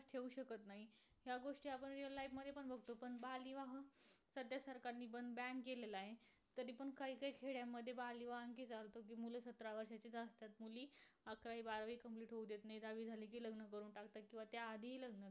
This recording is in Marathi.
बालविवाह सद्या सरकारनी पण ban केलेला आहे. तरीपण काहीकाही खेड्यामध्ये बालविवाह आणखी चालतो. कि मुलं सतरा वर्षाचे असतात. मुली अकरावी बारावी complete होऊ देत नाहीत. दहावी झाली कि लग्न करून टाकतात किंवा त्या आधीही लग्न कर